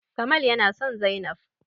Kamal yana son zainab